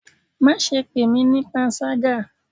Ma sé pe mí pánṣagá!